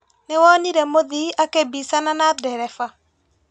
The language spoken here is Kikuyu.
Nĩwonire mũthii akĩmbicana na ndereba?